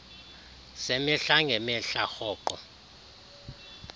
zemihla ngemihla rhoqo